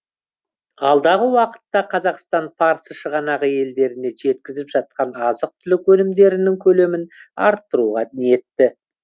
алдағы уақытта қазақстан парсы шығанағы елдеріне жеткізіп жатқан азық түлік өнімдерінің көлемін арттыруға ниетті